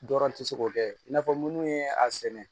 Dɔrɔn tɛ se k'o kɛ i n'a fɔ minnu ye a sɛnɛ